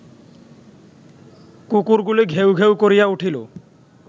কুকুরগুলি ঘেউ ঘেউ করিয়া উঠিল